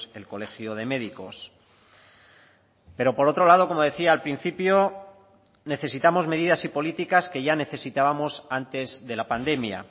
el colegio de médicos pero por otro lado como decía al principio necesitamos medidas y políticas que ya necesitábamos antes de la pandemia